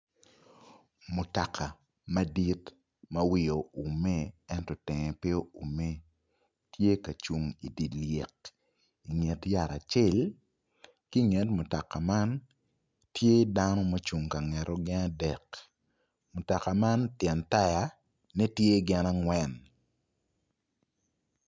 Mutoka madit ma wiye oume ento tenge pe oume tye ka cung idye lyek inget yat acel ki inget mutoka man tye dano ma ocung gin adek mutoka man tyen tayane tye gin angwen.